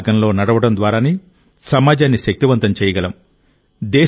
కర్తవ్య మార్గంలో నడవడం ద్వారానే సమాజాన్ని శక్తివంతం చేయగలం